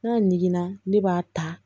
N ka ɲiginna ne b'a ta